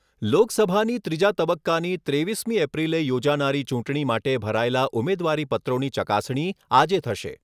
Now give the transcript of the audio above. લોકસભાની ત્રીજા તબક્કાની ત્રેવીસમી એપ્રિલે યોજાનારી ચૂંટણી માટે ભરાયેલા ઉમેદવારી પત્રોની ચકાસણી આજે થશે.